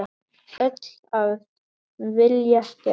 Öll af vilja gerð.